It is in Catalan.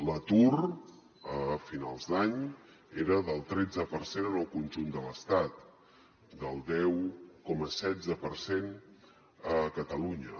l’atur a finals d’any era del tretze per cent en el conjunt de l’estat del deu coma setze per cent a catalunya